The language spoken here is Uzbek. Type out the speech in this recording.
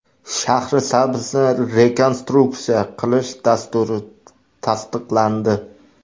Shahrisabzni rekonstruksiya qilish dasturi tasdiqlandi.